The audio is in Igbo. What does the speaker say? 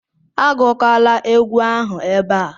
Agụkwala egwu ahụ ebe a